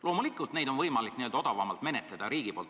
Loomulikult on riigi poolt vaadates neid võimalik odavamalt menetleda.